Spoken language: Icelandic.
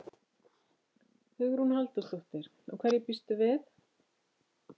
Hugrún Halldórsdóttir: Og hverju býstu við?